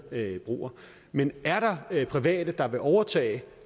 broer men er der private der vil overtage